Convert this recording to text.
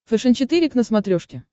фэшен четыре к на смотрешке